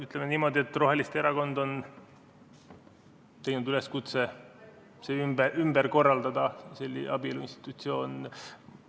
Ütleme niimoodi, et roheliste erakond on teinud üleskutse ümber korraldada abielu institutsioon.